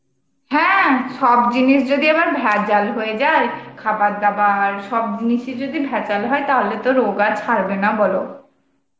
হ্যাঁ, সব জিনিস যদি আবার ভেজাল হইয়ে যাই খাবার দাবার সব জিনিস ই যদি ভেজাল হয় তালে তো রোগ আর ছাড়বে না বল ?